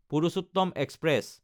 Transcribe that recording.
Purushottam express